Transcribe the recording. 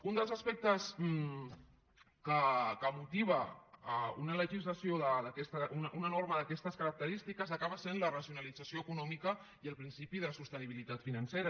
un dels aspectes que motiva una norma d’aquestes característiques acaba sent la racionalització econòmica i el principi de sostenibilitat financera